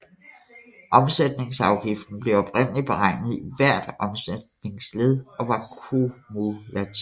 Omsætningsafgiften blev oprindelig beregnet i hvert omsætningsled og var kumulativ